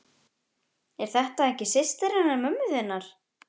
Er þetta ekki systir hennar mömmu þinnar?